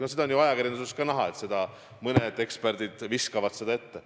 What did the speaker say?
No seda on ju ajakirjanduses ka näha, et mõned eksperdid heidavad seda meile ette.